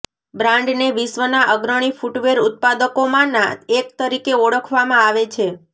બ્રાન્ડને વિશ્વના અગ્રણી ફૂટવેર ઉત્પાદકોમાંના એક તરીકે ઓળખવામાં આવે છે